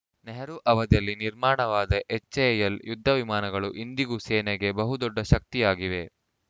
ನೆಹರೂ ಅವಧಿಯಲ್ಲಿ ನಿರ್ಮಾಣವಾದ ಎಚ್‌ಎಎಲ್‌ ಯುದ್ಧ ವಿಮಾನಗಳು ಇಂದಿಗೂ ಸೇನೆಗೆ ಬಹು ದೊಡ್ಡ ಶಕ್ತಿಯಾಗಿವೆ